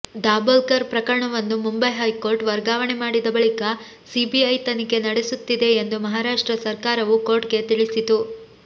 ದಾಭೋಲ್ಕರ್ ಪ್ರಕರಣವನ್ನು Bombay high court ವರ್ಗಾವಣೆ ಮಾಡಿದ ಬಳಿಕ ಸಿಬಿಐ ತನಿಖೆ ನಡೆಸುತ್ತಿದೆ ಎಂದು ಮಹಾರಾಷ್ಟ್ರ ಸರ್ಕಾರವು ಕೋರ್ಟ್ಗೆ ತಿಳಿಸಿತು